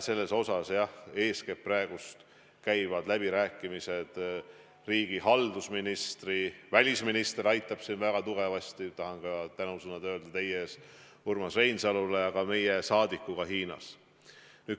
Sellel teemal, jah, eeskätt käivad praegu läbirääkimised riigihalduse ministriga, välisminister aitab siin väga tugevasti – tahan ka tänusõnad öelda teie ees Urmas Reinsalule –, ja ka meie saadikuga Hiinas.